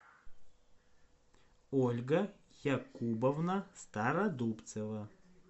ольга якубовна стародубцева